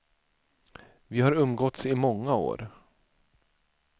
Vi har umgåtts i många år.